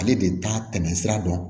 Ale de t'a tɛmɛ sira dɔn